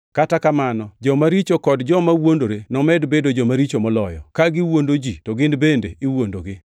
kata kamano, joma richo kod joma wuondore nomed bedo joma richo moloyo, ka gi wuondo ji to gin bende iwuondogi.